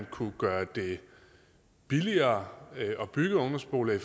kunne gøres billigere at bygge ungdomsboliger i